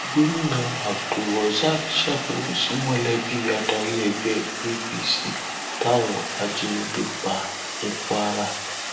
gomina abdulrozak sábẹwò sí mọlẹbí adarí ẹgbẹ apc táwọn ajinígbé pa ní kwara